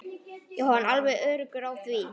Jóhann: Alveg öruggur á því?